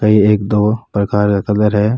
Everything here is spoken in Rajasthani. कई एक दो प्रकार का कलर है।